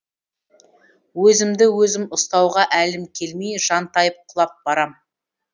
өзімді өзім ұстауға әлім келмей жантайып құлап барам